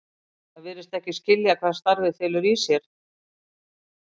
Það virðist ekki skilja hvað starfið felur í sér.